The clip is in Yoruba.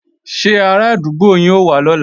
Ṣé arádúgbò yín ó wá lọ́la